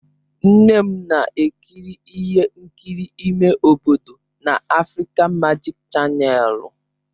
Nne m na-ekiri ihe nkiri ime obodo na Afrịka Majik chanèlụ.